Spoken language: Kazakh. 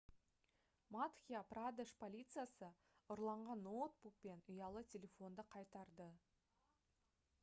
мадхья-прадеш полициясы ұрланған ноутбук пен ұялы телефонды қайтарды